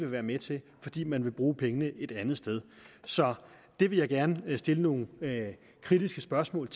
være med til fordi man vil bruge pengene et andet sted så det vil jeg gerne stille nogle kritiske spørgsmål